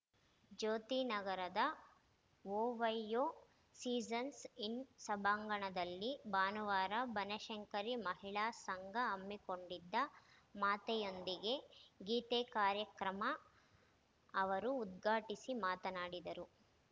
ಜ್ಯೋತಿ ನಗರದ OYO seasons inn ಸಭಾಂಗಣದಲ್ಲಿ ಭಾನುವಾರ ಬನಶಂಕರಿ ಮಹಿಳಾ ಸಂಘ ಹಮ್ಮಿಕೊಂಡಿದ್ದ ಮಾತೆಯೊಂದಿಗೆ ಗೀತೆ ಕಾರ್ಯಕ್ರಮ ಅವರು ಉದ್ಘಾಟಿಸಿ ಮಾತನಾಡಿದರು